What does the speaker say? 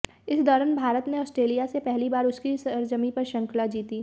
इस दौरान भारत ने आस्ट्रेलिया से पहली बार उसकी सरजमीं पर श्रृंखला जीती